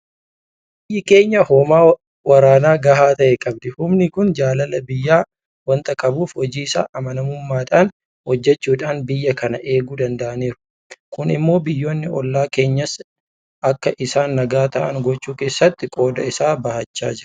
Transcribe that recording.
Biyyi keenya hoomaa waraanaa gahaa ta'e qabdi. Humni kun jaalala biyyaa waanta qabuuf hojii isaa amanamummaadhaan hojjechuudhaan biyya kana eeguu danda'aniiru. Kun immoo biyyoonni hollaa keenyaas akka isaan nagaa ta'an gochuu keessatti qooda isaa bahachaa jira.